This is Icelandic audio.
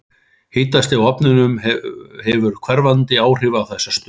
Hitastig á ofnum hefur hverfandi áhrif á þessa stöðu.